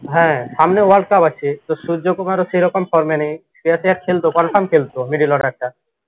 হ্যাঁ সামনে world cup আছে তো সূর্য কুমারও সেরকম form এ নেই। খেলত confirm খেলত middle order টা